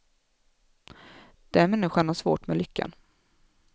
Den människan har svårt med lyckan.